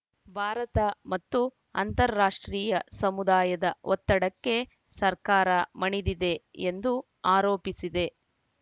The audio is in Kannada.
ಭಾರತ ಮತ್ತು ಅಂತಾರಾಷ್ಟ್ರೀಯ ಸಮುದಾಯದ ಒತ್ತಡಕ್ಕೆ ಸರ್ಕಾರ ಮಣಿದಿದೆ ಎಂದು ಆರೋಪಿಸಿದೆ